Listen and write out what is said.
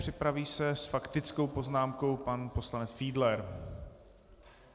Připraví se s faktickou poznámkou pan poslanec Fiedler.